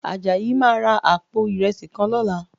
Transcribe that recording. Àjàyí máa ra àpò ìrẹsì kan lọ́la